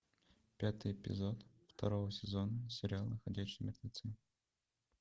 пятый эпизод второго сезона сериала ходячие мертвецы